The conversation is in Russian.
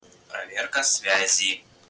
проверка связи